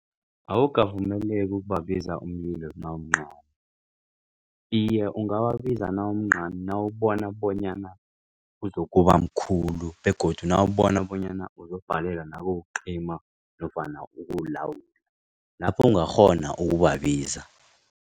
Awukavumeleki ukubabiza umlilo nawumncani iye ungawabiza nawumncani nawubona bonyana uzokubamkhulu begodu nawubona bonyana uzokubhalelwa nawukucima nofana ukuwulawula lapho ungakghona ukubabiza.